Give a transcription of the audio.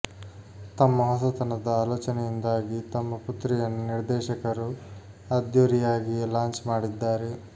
ತಮ್ಮ ಹೊಸತನದ ಆಲೋಚನೆಯಿಂದಾಗಿ ತಮ್ಮ ಪುತ್ರಿಯನ್ನು ನಿರ್ದೇಶಕರು ಅದ್ಧೂರಿಯಾಗಿಯೇ ಲಾಂಚ್ ಮಾಡಿದ್ದಾರೆ